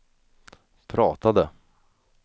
pratade